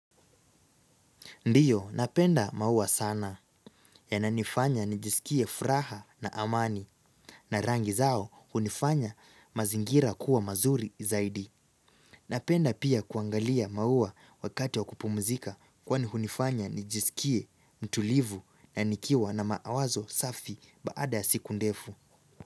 Ndiyo, napenda maua sana yananifanya nijisikie furaha na amani na rangi zao hunifanya mazingira kuwa mazuri zaidi. Napenda pia kuangalia maua wakati wa kupumzika kwani hunifanya nijisikie mtulivu na nikiwa na mawazo safi baada ya siku ndefu.